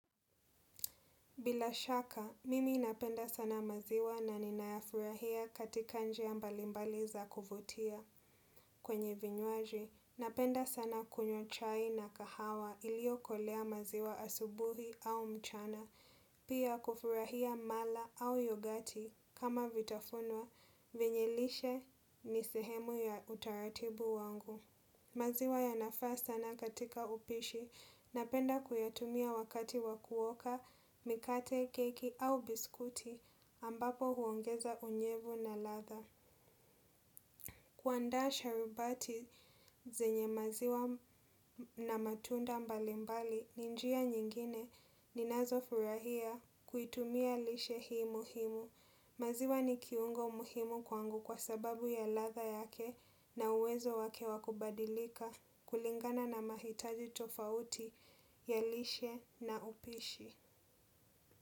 Bila shaka, mimi napenda sana maziwa na ninayafurahia katika njia mbali mbali za kuvutia. Kwenye vinywaji, napenda sana kunywa chai na kahawa ilio kolea maziwa asubuhi au mchana. Pia kufurahia mala au yogati kama vitafunwa, venye lishe ni sehemu ya utaratibu wangu. Maziwa yanafaa sana katika upishi napenda kuyatumia wakati wa kuoka, mikate, keki au biskuti ambapo huongeza unyevu na ladha. Kuandaa sharubati zenye maziwa na matunda mbalimbali ni njia nyingine ninazo furahia kuitumia lishe hii muhimu. Maziwa ni kiungo umuhimu kwangu kwa sababu ya ladha yake na uwezo wake wa kubadilika kulingana na mahitaji tofauti, ya lishe na upishi.